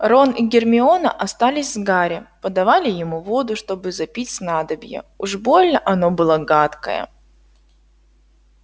рон и гермиона остались с гарри подавали ему воду чтобы запить снадобье уж больно оно было гадкое